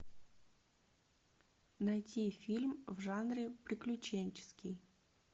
найти фильм в жанре приключенческий